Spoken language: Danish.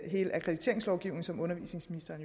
hele akkrediteringslovgivningen som undervisningsministeren